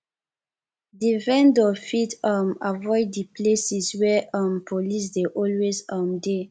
di vendor fit um avoid di places where um police dey always um de